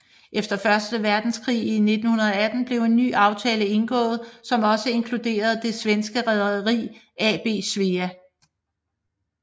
Efter første verdenskrig i 1918 blev en ny aftale indgået som også inkluderede det svenske Rederi AB Svea